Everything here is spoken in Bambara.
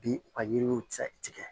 Bi u ka yiriw tigɛ